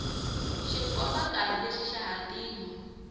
xikombankarhi lexi xa hatima